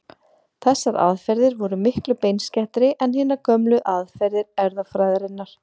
Þessar aðferðir voru miklu beinskeyttari en hinar gömlu aðferðir erfðafræðinnar.